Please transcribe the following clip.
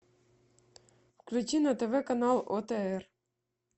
включи на тв канал отр